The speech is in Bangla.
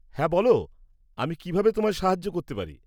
হ্যাঁ, বলো আমি কিভাবে তোমায় সাহায্য করতে পারি।